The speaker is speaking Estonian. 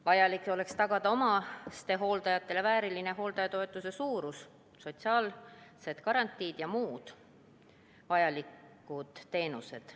Vaja oleks tagada omastehooldajatele vääriline hooldajatoetuse suurus, sotsiaalsed garantiid ja muud vajalikud teenused.